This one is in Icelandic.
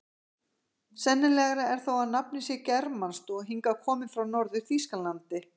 Sennilegra er þó að nafnið sé germanskt og hingað komið frá Norður-Þýskalandi.